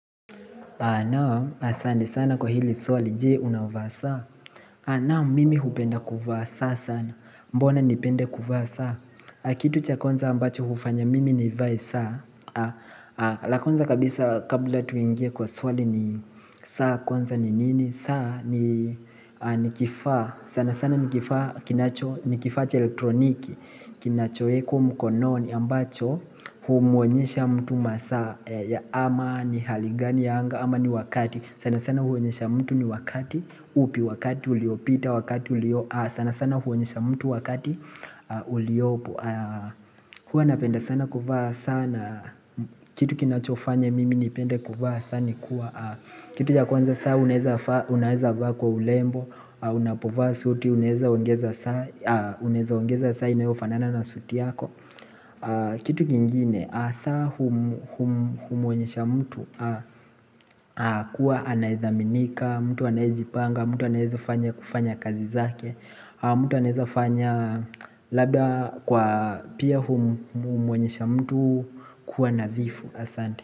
Asante sana kwa hili swali, je unavaa saa? Naam, mimi hupenda kuvaa saa sana. Mbona nipende kuvaa saa? Kitu cha kwanza ambacho hufanya mimi nivae saa. La kwanza kabisa kabla tuingie kwa swali ni saa kwanza ni nini? Saa ni kifaa. Sana sana ni kifaa kinacho, ni kifaa cha elektroniki. Kinachoekwa mkononi ambacho humuonyesha mtu masaa. Ama ni hali gani ya anga ama ni wakati sana sana huonyesha mtu ni wakati upi wakati uliopita wakati uliopo sana sana huonyesha mtu wakati uliopo Hua napenda sana kuvaa saa na Kitu kinachofanya mimi nipende kuvaa saa ni kuwa Kitu ya kwanza saa unaeza vaa kwa urembo Unapovaa suti, unaeza ongeza saa Uneeza ongeza saa inayofanana na suti yako Kitu kingine hasaa humuonyesha mtu kuwa anaedhaminika, mtu anaejipanga, mtu anaeeza kufanya kazi zake mtu anaezafanya labda kwa pia humuoenyesha mtu kuwa nadhifu asante.